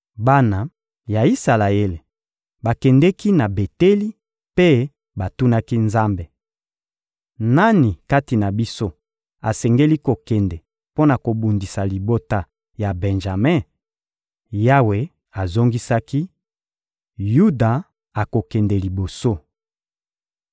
Bana ya Isalaele bakendeki na Beteli mpe batunaki Nzambe: — Nani kati na biso asengeli kokende mpo na kobundisa libota ya Benjame? Yawe azongisaki: — Yuda akokende liboso.